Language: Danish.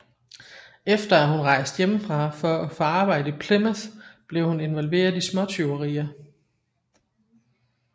Efter at hun rejste hjemmefra for at få arbejde i Plymouth blev hun involveret i småtyverier